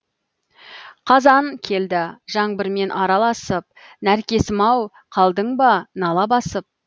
қазан келді жаңбырмен араласып нәркесім ау қалдың ба нала басып